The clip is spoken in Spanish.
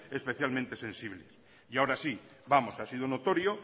especialmente sensibles y ahora sí vamos ha sido notorio